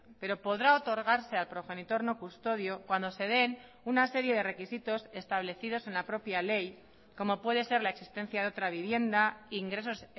pero podrá otorgarse al progenitor no custodio cuando se den una serie de requisitos establecidos en la propia ley como puede ser la existencia de otra vivienda ingresos